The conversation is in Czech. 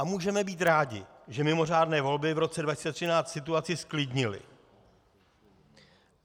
A můžeme být rádi, že mimořádné volby v roce 2013 situaci zklidnily.